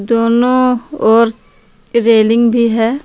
दोनों ओर रेलिंग भी है।